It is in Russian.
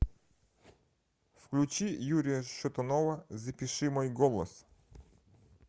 включи юрия шатунова запиши мой голос